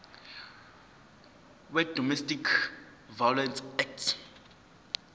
wedomestic violence act